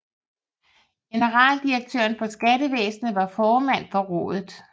Generaldirektøren for Skattevæsenet var formand for rådet